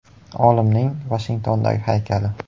Olimning Vashingtondagi haykali.